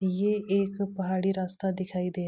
ये एक पहाड़ी रास्ता दिखाई दे --